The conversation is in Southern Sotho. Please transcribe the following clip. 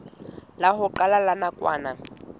la ho qala la nakwana